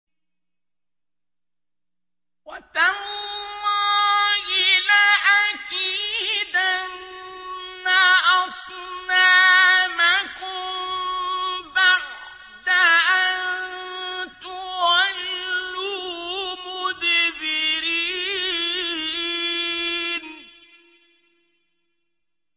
وَتَاللَّهِ لَأَكِيدَنَّ أَصْنَامَكُم بَعْدَ أَن تُوَلُّوا مُدْبِرِينَ